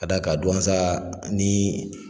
K'a d'a ka Douentza ni